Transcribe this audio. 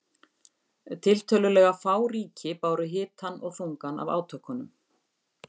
Tiltölulega fá ríki báru hitann og þungann af átökunum.